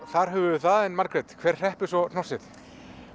þar höfum við það en Margrét hver hreppir svo hnossið